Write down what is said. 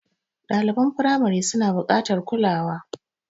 Ɗaliban firamari suna buƙatar kulawa.